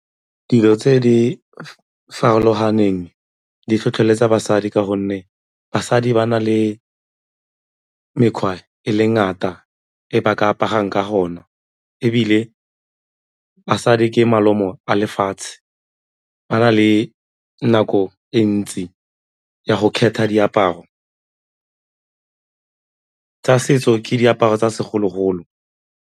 Dilo tse di farologaneng di tlhotlheletsa basadi ka gonne basadi ba na le mekgwa e le ngata e ba ka aparang ka gona ebile basadi ke malomo a lefatshe, ba na le nako e ntsi ya go kgetha diaparo, tsa setso ke diaparo tsa segologolo.